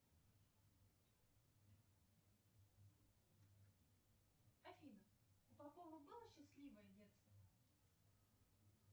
афина у попова было счастливое детство